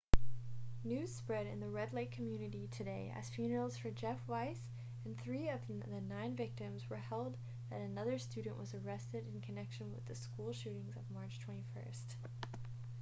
news spread in the red lake community today as funerals for jeff weise and three of the nine victims were held that another student was arrested in connection with the school shootings of march 21